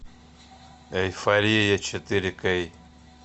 эйфория четыре кей